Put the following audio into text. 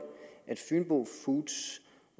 at fynbo foods